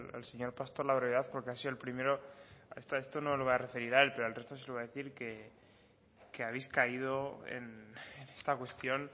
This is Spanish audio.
al señor pastor la brevedad porque ha sido el primero esto no le voy a referir a él pero al resto se lo voy a decir que habéis caído en esta cuestión